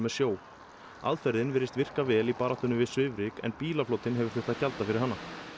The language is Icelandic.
sjó aðferðin virðist virka vel í baráttunni við svifryk en bílaflotinn hefur þurft gjalda fyrir hana